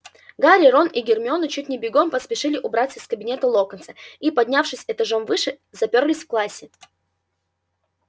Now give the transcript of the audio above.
гарри рон и гермиона чуть не бегом поспешили убраться из кабинета локонса и поднявшись этажом выше запёрлись в классе